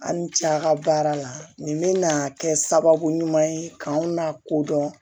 Aw ni ce a ka baara la nin bɛna kɛ sababu ɲuman ye k'anw n'a ko dɔn